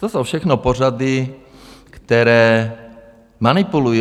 To jsou všechno pořady, které manipulují.